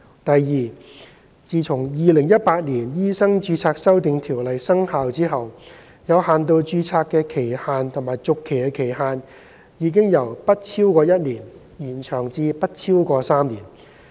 第二，自《2018年醫生註冊條例》生效後，有限度註冊的期限和續期期限已由不超過1年，延長至不超過3年。